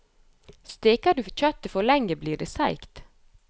Steker du kjøttet for lenge, blir det seigt.